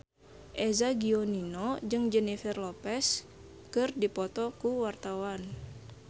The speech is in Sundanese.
Eza Gionino jeung Jennifer Lopez keur dipoto ku wartawan